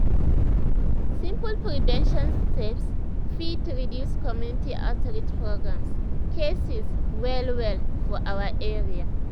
simple prevention steps fit reduce community outreach programs cases well well for our area.